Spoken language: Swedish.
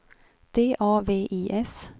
D A V I S